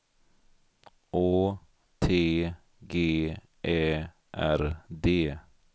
Å T G Ä R D